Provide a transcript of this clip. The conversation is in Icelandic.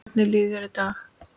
Hvernig líður þér í dag?